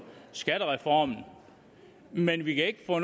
skattereform men vi kan ikke få